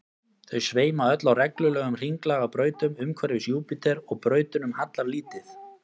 þau sveima öll á reglulegum hringlaga brautum umhverfis júpíter og brautunum hallar lítið